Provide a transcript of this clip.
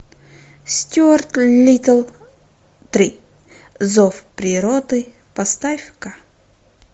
стюарт литтл три зов природы поставь ка